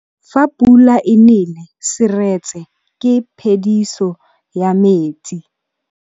Fa pula e nelê serêtsê ke phêdisô ya metsi.